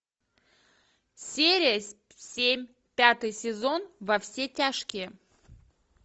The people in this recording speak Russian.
серия семь пятый сезон во все тяжкие